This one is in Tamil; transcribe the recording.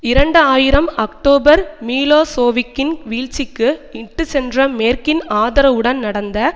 இரண்டு ஆயிரம் அக்டோபர் மிலோசோவிக்கின் வீழ்ச்சிக்கு இட்டுச்சென்ற மேற்கின் ஆதரவுடன் நடந்த